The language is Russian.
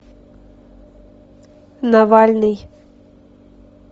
навальный